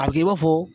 A bɛ kɛ i b'a fɔ